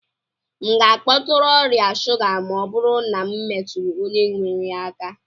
M ga-akpọtụrụ ọrịa shuga ma ọ bụrụ na m metụrụ onye nwere ya aka?